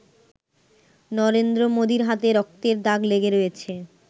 নরেন্দ্র মোদির হাতে রক্তের দাগ লেগে রয়েছে।